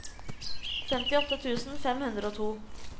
femtiåtte tusen fem hundre og to